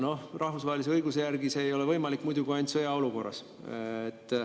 Noh, rahvusvahelise õiguse järgi see ei ole võimalik muidu kui ainult sõjaolukorras.